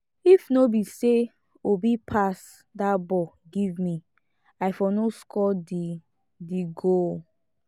if no be say obi pass dat ball give me i for no score the the goal